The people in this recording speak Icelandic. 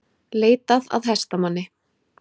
Leitað að hestamanni